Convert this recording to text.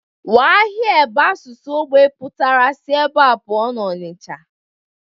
Waa here bụ asụsụ ógbè pụtara si ebe a pụọ n'Onicha